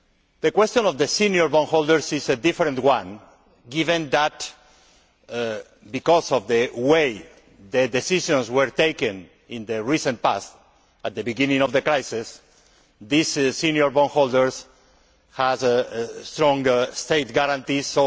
The question of the senior bondholders is a different one given that, because of the way the decisions were taken in the recent past at the beginning of the crisis, these senior bondholders have a strong state guarantee.